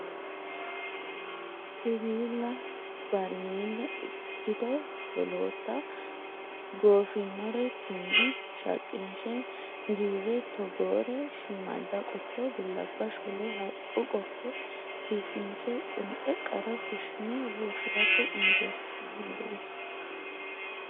Siwiilla barimele ikkito wolootta goofinore tume shaqinshe giire togore shiimada qotto bilabba shole haqqu qotto biifinse qunxe qara fushine loosirate injesinannireti.